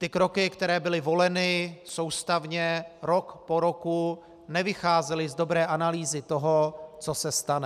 Ty kroky, které byly voleny soustavně rok po roku, nevycházely z dobré analýzy toho, co se stane.